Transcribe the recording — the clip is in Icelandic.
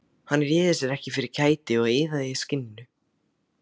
Hann réði sér ekki fyrir kæti og iðaði í skinninu.